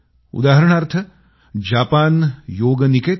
उदाहरणार्थ जपान योग निकेतन